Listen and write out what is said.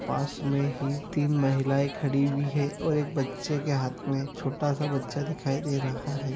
पास में ही तीन महिलाए खड़ी हुई है और एक बच्चे के हाथ में छोटा सा बच्चा दिखाई दे रहा है।